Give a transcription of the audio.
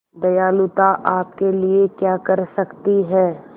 दयालुता आपके लिए क्या कर सकती है